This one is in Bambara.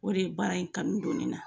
O de ye baara in kanu don ne na.